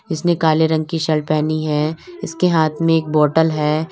इसने काले रंग की शर्ट पहनी है इसके हाथ में एक बॉटल है।